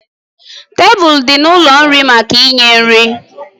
Tebụl dị n'ụlọ nri maka inye nri